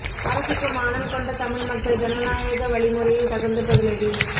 அரசுக்கு மானம் கொண்ட தமிழ் மக்கள் ஜனநாயக வழி முறையில் தகுந்த பதிலடி